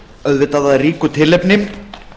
auðvitað af ríku tilefni